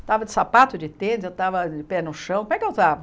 Estava de sapato, de tênis, eu estava de pé no chão, como é que eu estava?